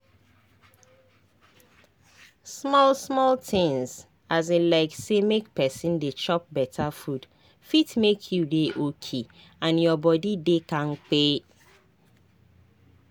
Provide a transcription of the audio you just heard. small-small tinz um like say make pesin dey chop beta food fit make you dey okay and your body dey kampe.